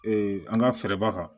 an ka fɛɛrɛba